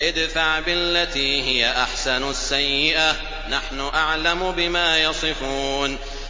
ادْفَعْ بِالَّتِي هِيَ أَحْسَنُ السَّيِّئَةَ ۚ نَحْنُ أَعْلَمُ بِمَا يَصِفُونَ